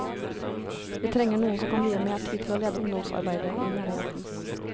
Vi trenger noen som kan vie mer tid til å lede ungdomsarbeidet i menigheten.